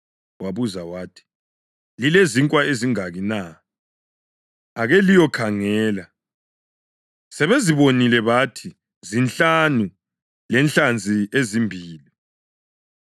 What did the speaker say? Wabuza wathi, “Lilezinkwa ezingaki na? Ake liyokhangela.” Sebezibonile bathi, “Zinhlanu lenhlanzi ezimbili.”